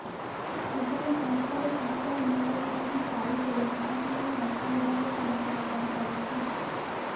କିଭଳି ସଂସ୍ଥାରୁ ସରକାର ମୂଳ ପୁଞ୍ଜି ପାଇବେ ତାହାକୁ ନେଇ ଅର୍ଥ ବିଭାଗ ଚିନ୍ତା ପ୍ରକଟ କରିଛି